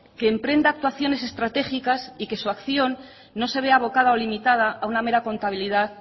que emprenda actuaciones estratégicas y que su acción no se vea abocada o limitada a una mera contabilidad